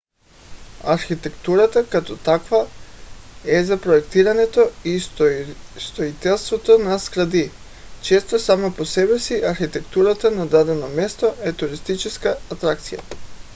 архитектурата като такава е за проектирането и строителството на сгради. често сама по себе си архитектурата на дадено място е туристическа атракция